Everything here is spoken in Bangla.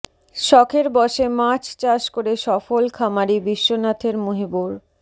শখের বসে মাছ চাষ করে সফল খামারি বিশ্বনাথের মুহিবুর